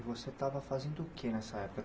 E você estava fazendo o que nessa época?